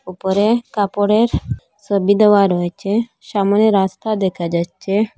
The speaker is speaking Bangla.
ওপরে কাপড়ের সবি দেওয়া রয়েছে সামোনে রাস্তা দেখা যাচ্ছে।